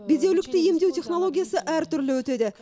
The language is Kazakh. бедеулікті емдеу технологиясы әртүрлі өтеді